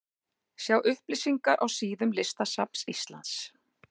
Sjá upplýsingar á síðum listasafns Íslands.